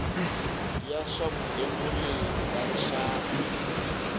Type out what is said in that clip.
ya swa vugembuli bya rixaka